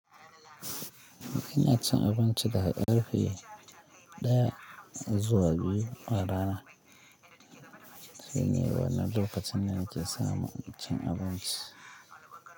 Ina cin abinci da karfe ɗaya zuwa biyu a rana. Shine wanan lakacin da nake samu cin abinci.